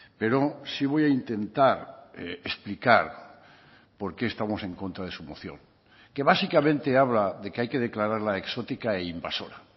pero sí voy a intentar explicar por qué estamos en contra de su moción que básicamente habla de que hay que declararla exótica e invasora